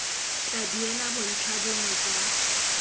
tla duela bontlha bongwe jwa